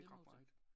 Ikke ret meget